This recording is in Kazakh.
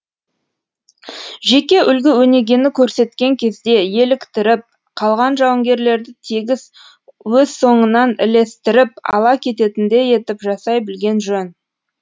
жеке үлгі өнегені көрсеткен кезде еліктіріп қалған жауынгерлерді тегіс өз соңынан ілестіріп ала кететіндей етіп жасай білген жөн